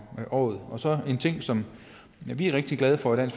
året så er der en ting som vi er rigtig glade for i